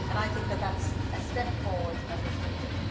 I think that is a step forward that was needed.